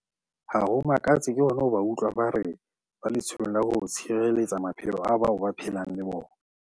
Ha ho makatse ke hona ho ba utlwa ba re ba letsholong la ho tshireletsa maphelo a bao ba phelang le bona.